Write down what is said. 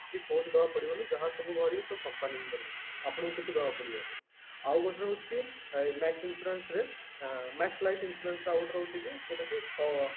ଦବାକୁ ପଡିବନନି ଯାହା ସବୁ ଭରିବ ସବୁ company ହିଁ ଭରିବେ ଆପଣଙ୍କୁ କିଛିବି ଦେବାକୁ ପଡିବନି ଆଉ ଗୋଟେ ରହୁଛି ଏ max insurance ରେ max life insurance ରେ ଆଉ ଗୋଟେ ରହୁଛି କି ଯୋଉଟା କି କ